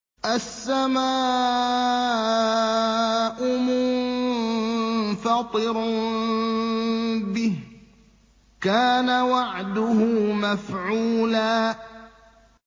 السَّمَاءُ مُنفَطِرٌ بِهِ ۚ كَانَ وَعْدُهُ مَفْعُولًا